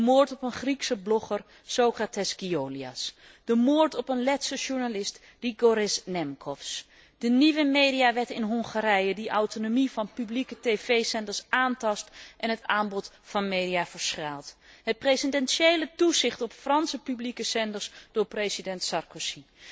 De moord op een Griekse blogger, Socrates Giolias, de moord op een Letse journalist, Grigorijs Nemcovs, de nieuwe mediawet in Hongarije die autonomie van publieke tv zenders aantast en het aanbod van media verschraalt. Het presidentiële toezicht op Franse publieke zenders door president Sarkozy.